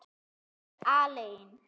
Ég er aleinn.